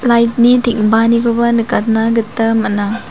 lait ni teng·baanikoba nikatna gita man·a.